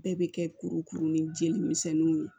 Bɛɛ bɛ kɛ kurukuru ni jeli misɛnniw ye